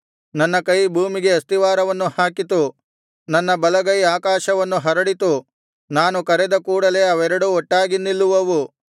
ನನ್ನ ಕೈ ಭೂಮಿಗೆ ಅಸ್ತಿವಾರವನ್ನು ಹಾಕಿತು ನನ್ನ ಬಲಗೈ ಆಕಾಶವನ್ನು ಹರಡಿತು ನಾನು ಕರೆದ ಕೂಡಲೆ ಅವೆರಡೂ ಒಟ್ಟಾಗಿ ನಿಲ್ಲುವವು